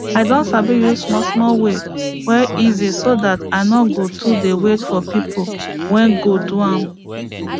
i don sabi use small small way wey easy so dat i nor go too de wait for pipo wey go do am